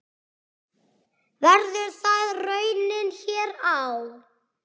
Verður það raunin hér á?